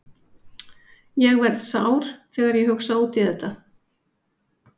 Ég verð sár þegar ég hugsa út í þetta.